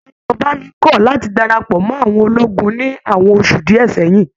Ayobami kọ láti darapọ̀ mọ àwọn ológun ní àwọn oṣù díẹ̀ sẹyìn.